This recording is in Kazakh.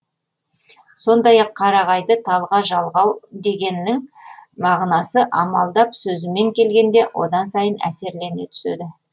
сондай ақ қарағайды талға жалғау дегеннің мағынасы амалдап сөзімен келгенде одан сайын әсерлене түседі